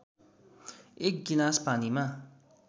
एक गिलास पानीमा